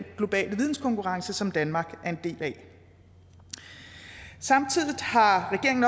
globale videnskonkurrence som danmark er en del af samtidig har regeringen